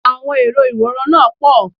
Àwọn èrò ìwòran náà pọ̀